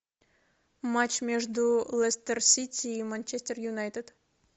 матч между лестер сити и манчестер юнайтед